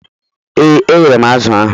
Ee, eghere m azụ̀ ahụ.